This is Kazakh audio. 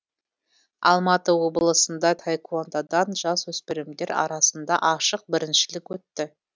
алматы облысында таэквондадан жасөспірімдер арасында ашық біріншілік өтті